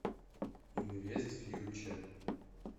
инвест фьюче